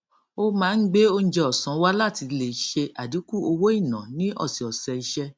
ó máa ń gbé oúnjẹ ọsán wá láti ilé ṣe àdínkù owó ìná ní ọsẹ ọsẹ iṣẹ